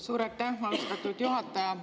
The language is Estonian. Suur aitäh, austatud juhataja!